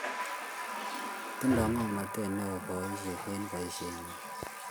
Tinyei ng'omnotet neoo polisiek eng' boisheng'wang'.